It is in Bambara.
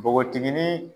Npogotiginin